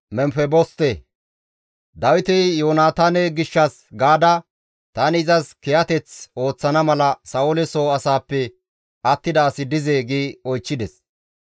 Dawiti, «Yoonataane gishshas gaada tani izas kiyateth ooththana mala Sa7oole soo asaappe attida asi dizee?» gi oychchides.